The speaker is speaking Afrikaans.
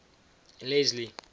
leslie